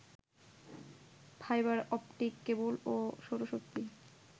fibre optic cable ও সৌরশক্তি